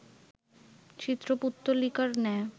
চিত্রপুত্তলিকার ন্যায়